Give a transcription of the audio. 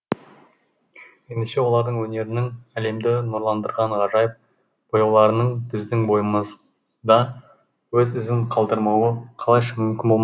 ендеше олардың өнерінің әлемді нұрландырған ғажайып бояуларының біздің бойымызда өз ізін қалдырмауы қалайша мүмкін болмақ